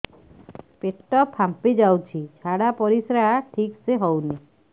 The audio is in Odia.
ପେଟ ଫାମ୍ପି ଯାଉଛି ଝାଡ଼ା ପରିସ୍ରା ଠିକ ସେ ହଉନି